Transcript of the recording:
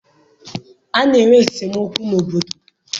A na-enwe esemokwu n'obodo.